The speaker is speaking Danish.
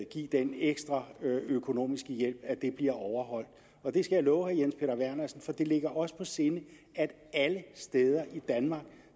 give den ekstra økonomiske hjælp bliver overholdt jeg skal love herre jens peter vernersen for at det ligger os på sinde at det alle steder i danmark